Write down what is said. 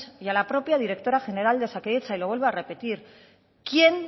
y a la propia directora general de osakidetza y lo vuelvo a repetir quién